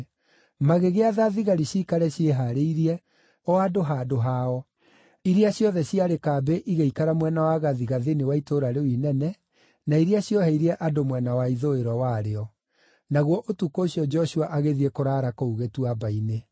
Magĩgĩatha thigari ciikare ciĩhaarĩirie o andũ handũ hao, iria ciothe ciarĩ kambĩ igĩikara mwena wa gathigathini wa itũũra rĩu inene, na iria cioheirie andũ mwena wa ithũĩro warĩo. Naguo ũtukũ ũcio Joshua agĩthiĩ kũraara kũu gĩtuamba-inĩ.